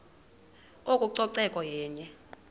oko ucoceko yenye